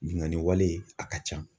Binnkanni wale a ka ca.